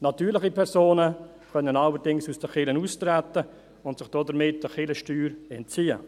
Natürliche Personen können allerdings aus der Kirche austreten und sich damit der Kirchensteuer entziehen.